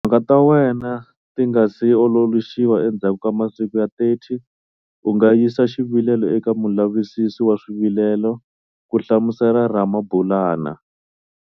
Timhaka ta wena ti nga si ololoxiwa endzhaku ka masiku ya 30, u nga yisa xivilelo eka Mulavisisi wa Swivilelo, ku hlamusela Ramabulana.